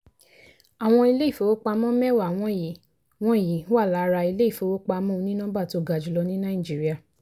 àwọn ilé-ifowópamọ́ mẹ́wàá wọ̀nyí wọ̀nyí wà lára ilé-ifowópamọ́ onínọmbà tó ga jùlọ ní nàìjíríà.